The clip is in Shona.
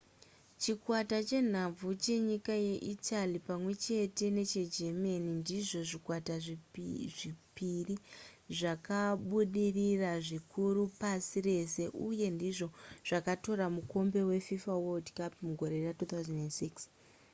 chikwata chenhabvu chenyika yeitaly pamwe neche german ndizvo zvikwata zvepiri zvakabudirira zvikuru pasi rese uye ndizvo zvakatora mukombe wefifa world cup mugore ra2006